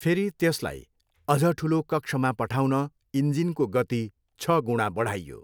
फेरि त्यसलाई अझ ठुलो कक्षमा पठाउन इन्जिनको गति छ गुणा बढाइयो।